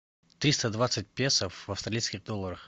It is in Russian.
триста двадцать песо в австралийских долларах